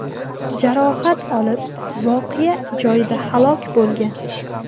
jarohat olib voqea joyida halok bo‘lgan.